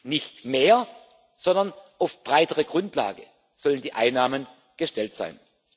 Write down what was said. Nicht mehr, sondern auf breitere Grundlage sollen die Einnahmen gestellt sein.